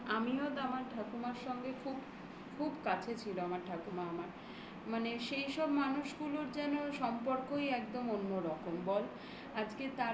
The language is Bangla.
আমিও তো আমার ঠাকুমার সঙ্গে খুব খুব কাছে ছিল আমার ঠাকুমা আমার মানে সেইসব মানুষগুলোর যেন সম্পর্কই একদম অন্যরকম বল